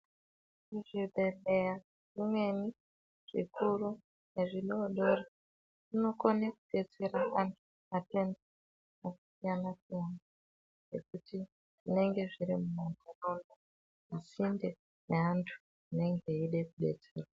Muzvibhedhlera zvimweni zvikuru nezvidodori zvinokona kudetsera antu matenda akasiyana-siyana nekuti zvinenge zviri pasinde peantu anenge achida kudetserwa.